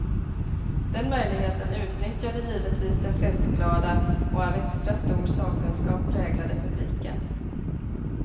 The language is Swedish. Den möjligheten utnyttjade givetvis den festglada och av extra stor sakkunskap präglade publiken.